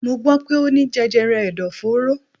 Mo gbọ́ pé Ó ní jẹjẹrẹ ẹ̀dọ̀fóró.